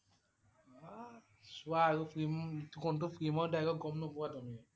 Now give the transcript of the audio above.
বাহ! চোৱা আৰু film কোনটো film ৰ dialogue গম নোপোৱা তুমি?